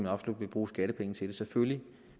absolut vil bruge skattepenge til det selvfølgelig